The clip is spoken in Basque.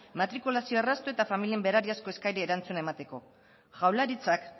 matrikulazio erraztu eta familien berariazko eskariari erantzuna emateko jaurlaritzak